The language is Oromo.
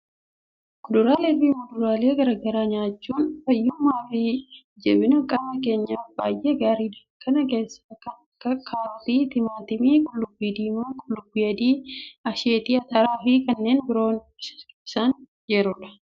Kuduraalee fi muduraalee garaa garaa nyaachuun fayyummaa fi jabina qaama keenyaaf baay'ee gaariidha! Kan keessaa kan akka kaarotii, timaatimii, qullubbii diimaa, qullubbii adii, asheetii ataraa fi kanneen biroon isaan ijoodha.